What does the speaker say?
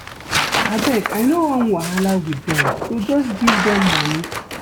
Abeg I no wan wahala with dem so just give dem money